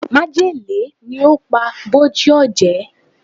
Májèlé ni ó pa Bòjé Ọ̀jẹ̀